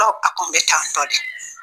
Dɔw a tun bɛ tan tɔ de